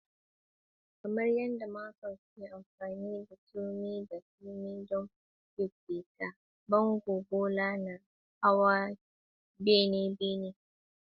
Kamar yadda masons ke amfani da turmi da turmi don siffata bango, bulo na hawa bene bayan bene.